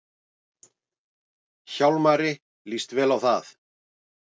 Hjálmari líst vel á það.